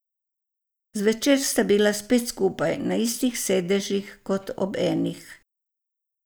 Zvečer sta bila spet skupaj, na istih sedežih kot ob enih.